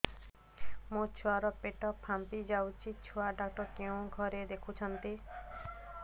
ମୋ ଛୁଆ ର ପେଟ ଫାମ୍ପି ଯାଉଛି ଛୁଆ ଡକ୍ଟର କେଉଁ ଘରେ ଦେଖୁ ଛନ୍ତି